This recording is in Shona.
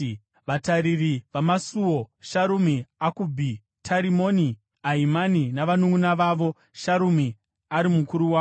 Vatariri vamasuo: Sharumi, Akubhi, Tarimoni, Ahimani navanunʼuna vavo, Sharumi ari mukuru wavo,